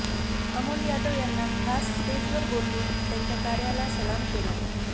अमोल यादव यांना खास स्टेजवर बोलावून त्यांच्या कार्याला सलाम केला